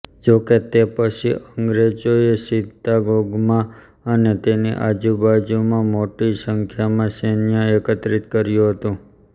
જો કે તે પછી અંગ્રેજોએ ચિત્તાગોંગમાં અને તેની આજુબાજુમાં મોટી સંખ્યામાં સૈન્ય એકત્રીત કર્યું હતું